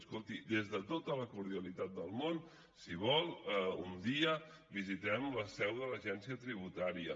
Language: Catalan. escolti des de tota la cordialitat del món si vol un dia visitem la seu de l’agència tributària